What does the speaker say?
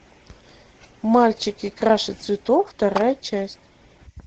мальчики краше цветов вторая часть